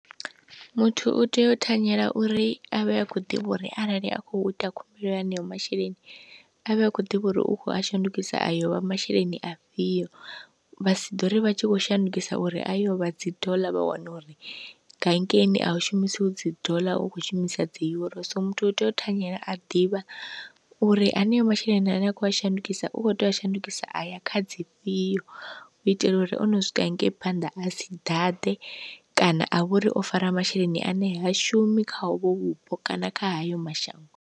Muthu u tea u thanyela uri avhe akho ḓivha uri arali a kho ita khumbelo ya haneyo masheleni avhe akho ḓivha uri u kho a shandukisa ayo vha masheleni afhio, vha si ḓo ri vha tshi khou shandukisa uri ayo vha dzi dollar vha wana uri hangeini a u shumisiwi dzi dollar u kho shumisa dzi euro, so muthu u tea u thanyela a ḓivha uri haneyo masheleni ane a kho a shandukisa u kho tea u shandukisa aya kha dzi fhio u itela uri o no swika hangei phanḓa a sa ḓaḓe kana a vhori o fara masheleni ane ha shumi kha uvho vhupo kana kha hayo mashango.